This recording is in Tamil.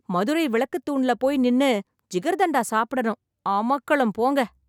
மதுரை விளக்குத் தூண்ல போய் நின்னு ஜிகர்தண்டா சாப்பிடணும், அமர்க்களம் போங்க.